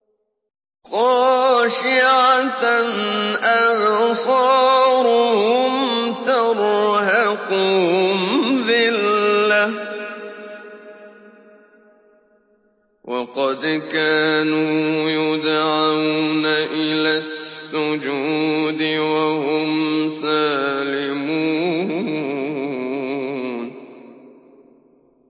خَاشِعَةً أَبْصَارُهُمْ تَرْهَقُهُمْ ذِلَّةٌ ۖ وَقَدْ كَانُوا يُدْعَوْنَ إِلَى السُّجُودِ وَهُمْ سَالِمُونَ